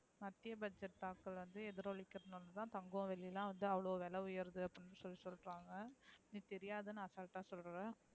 மத்திய budget தாக்கல் வந்து எதிரொலிகிறது நாள தான் தங்கம் வெள்ளி எல்லாம் அவ்ளோ விலை உயருது அப்டின்னு சொல்லி சொல்றாங்க. நீ தெரியாதுன்னு அசால்ட் அஹ சொல்ற.